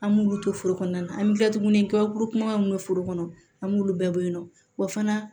An b'olu to foro kɔnɔna na an bɛ kila tuguni ka kuru kuman minnu bɛ foro kɔnɔ an b'olu bɛɛ bɔ yen nɔ wa fana